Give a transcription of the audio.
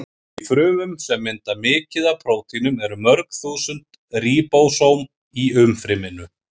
Í frumum sem mynda mikið af prótínum eru mörg þúsund ríbósóm í umfryminu.